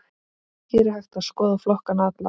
Hér er hægt að skoða flokkana alla.